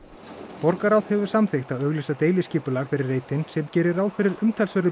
borgarráð hefur samþykkt að auglýsa deiliskipulag fyrir reitinn sem gerir ráð umtalsverðu